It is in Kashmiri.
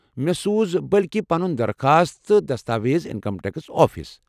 مےٚ سوٗز بلکہِ پنُن درخواست تہٕ دستاویز انکم ٹیکس آفس ۔